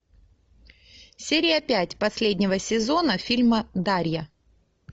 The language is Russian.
серия пять последнего сезона фильма дарья